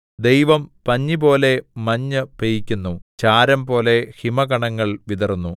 ദൈവം പഞ്ഞിപോലെ മഞ്ഞു പെയ്യിക്കുന്നു ചാരംപോലെ ഹിമകണങ്ങൾ വിതറുന്നു